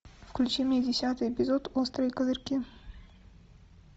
включи мне десятый эпизод острые козырьки